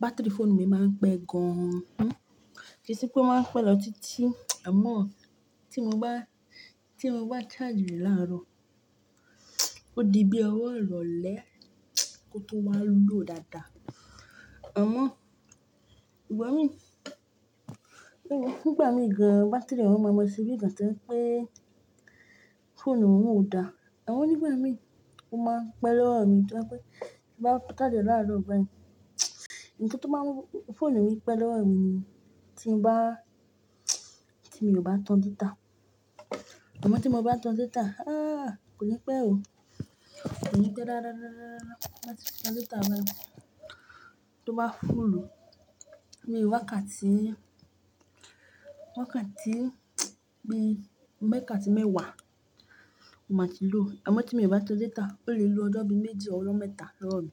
Batiri fóònù mi máa ń pẹ́ gan an. Kíì ṣe pé ó máa ń pẹ́ lọ tití? Amọ̀, tí mo bá, tí mo bá charge rẹ̀ láàárọ̀, ó di bí ọwọ́ ìrọ̀lẹ́ kó tó wá low dáadáa. Amọ̀, ìgbà mi, nígbà mí ga batiri yẹn máa ṣe bí ìgbà tó jẹ́ pé fóònù náà ò dáa. Àmọ̀ nígbà mí ó máa pẹ́ lọ́wọ́ mí tó jẹ́ pé tí mo bá charge láàárọ̀ báyì. Ǹkan tó máa ń mú fóònù mi pẹ́ lọ́wọ́ mi ni tí n bá, tí mi ò bà tan data. Àmọ̀ tí mo bá tan data, ah, kò ní pẹ́ o. Kò ní pẹ́ rárá, rárá, rárá, rárá, rárá. Tí mo bá ti tan data báyìí tó bá fúùlù, bíi wákàtí, wákàtí bí mẹ́kàtí mẹ́wàá ó máa ti low. Àmọ̀ tí mi ò bá tan data, ó lè lò ọjọ́ bí méjì or ọjọ́ mẹ́ta lọ́wọ́ mí.